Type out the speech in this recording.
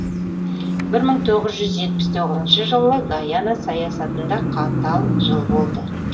бір мың тоғыз жүз жетпіс тоғызыншы жылы гайана саясатында қатал жыл болды